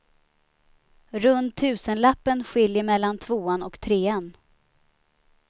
Runt tusenlappen skiljer mellan tvåan och trean.